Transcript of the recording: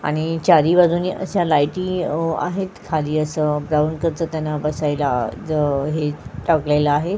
आणि चारी बाजूनी अश्या लायटी ओ आहेत खाली असं ग्राउंड कस त्यांना बसायला ज हे टाकलेल आहे.